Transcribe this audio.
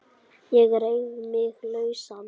Ég reif mig lausan.